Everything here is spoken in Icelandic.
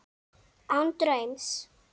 Án draums.